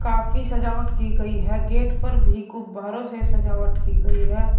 काफी सजावट की गई है गेट पर भी गुब्बारों से सजावट की गई है।